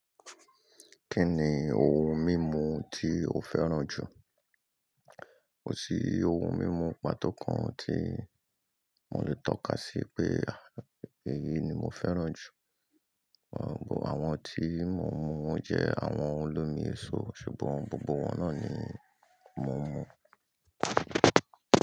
Kí ni ohun mímu tí o fẹ́ràn jù? Kò sí ohun mímu pàtó kan tí mo lè tọ́ka sí pé, pé èyí ni mo fẹ́ràn jù. Àwọn tí mo ń mu won jẹ́ àwọn olómi èso, ṣùgbọ́n gbogbo wọn náà ni mò ń mú.